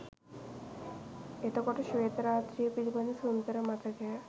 එතකොට ශ්වේත රාත්‍රිය පිළිබඳ සුන්දර මතකය